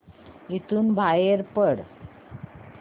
इथून बाहेर पड